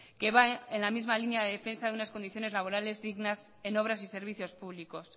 que va en la misma línea de defensa de unas condiciones laborables dignas en obras y servicios públicos